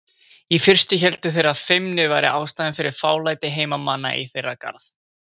Í fyrstu héldu þeir að feimni væri ástæðan fyrir fálæti heimamanna í þeirra garð.